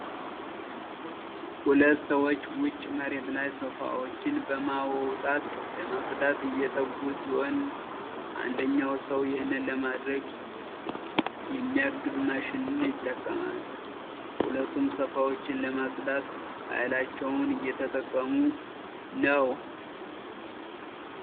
ሁለት ሰዎች ዉጪ መሬት ላይ ሶፋዎችን በማውጣት ለማጽዳት እየተጉ ሲሆን አንደኛው ሰው ይሄንን ለማድረግ የሚያግዝ ማሽንን ይጠቀማል። ሁለቱም ሶፋዎችን ለማጽዳት ሃይላቸውን እየተጠቀሙ ነው።